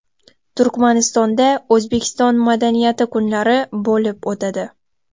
Turkmanistonda O‘zbekiston madaniyati kunlari bo‘lib o‘tadi.